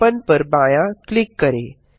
open पर बायाँ click करें